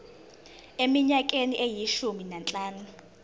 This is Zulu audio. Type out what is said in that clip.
eminyakeni eyishumi nanhlanu